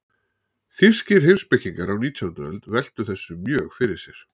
Þýskir heimspekingar á nítjándu öld veltu þessu mjög fyrir sér.